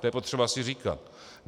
To je potřeba si říkat.